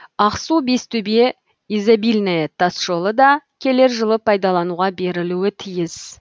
ақсу бестөбе изобильное тасжолы да келер жылы пайдалануға берілуі тиіс